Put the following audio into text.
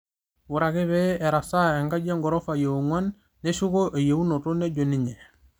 'Ore ake pee erasaa enkaji eghorofa eongúan neshuko eyeunoto,'' nejo ninye